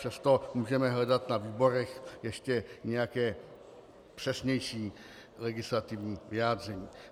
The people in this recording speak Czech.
Přesto můžeme hledat na výborech ještě nějaké přesnější legislativní vyjádření.